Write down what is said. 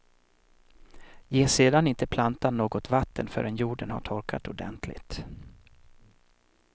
Ge sedan inte plantan något vatten förrän jorden har torkat ordentligt.